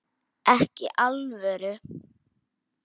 Ekki í alvöru.